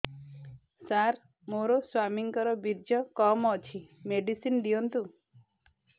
ସାର ମୋର ସ୍ୱାମୀଙ୍କର ବୀର୍ଯ୍ୟ କମ ଅଛି ମେଡିସିନ ଦିଅନ୍ତୁ